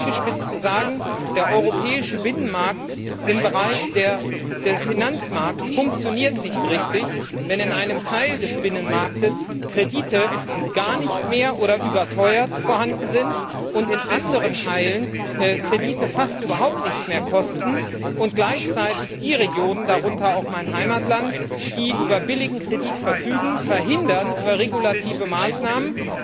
Um es zugespitzt zu sagen Der europäische Binnenmarkt im Bereich des Finanzmarkts funktioniert nicht richtig, wenn in einem Teil des Binnenmarkts Kredite gar nicht mehr oder überteuert vorhanden sind und in anderen Teilen Kredite fast überhaupt nichts mehr kosten und gleichzeitig die Regionen darunter auch mein Heimatland die über billigen Kredit verfügen, über regulative Maßnahmen